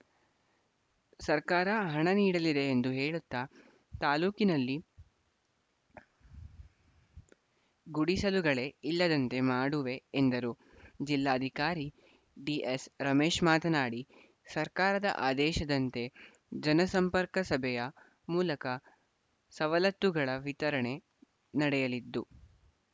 ಸರ್ಕಾರ ಹಣ ನೀಡಲಿದೆ ಎಂದು ಹೇಳುತ್ತಾ ತಾಲೂಕಿನಲ್ಲಿ ಗುಡಿಸಲುಗಳೇ ಇಲ್ಲದಂತೆ ಮಾಡುವೆ ಎಂದರು ಜಿಲ್ಲಾಧಿಕಾರಿ ಡಿಎಸ್‌ರಮೇಶ್‌ ಮಾತನಾಡಿ ಸರ್ಕಾರದ ಆದೇಶದಂತೆ ಜನ ಸಂಪರ್ಕಸಭೆಯ ಮೂಲಕ ಸವಲತ್ತುಗಳ ವಿತರಣೆ ನಡೆಯಲಿದ್ದು